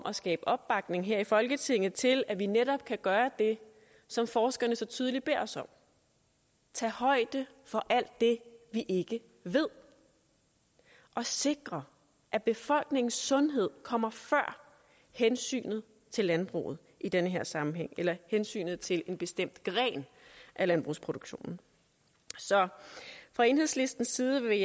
at skabe opbakning her i folketinget til at vi netop kan gøre det som forskerne så tydeligt beder os om tage højde for alt det vi ikke ved og sikre at befolkningens sundhed kommer før hensynet til landbruget i den her sammenhæng eller hensynet til en bestemt gren af landbrugsproduktionen så fra enhedslistens side vil